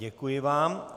Děkuji vám.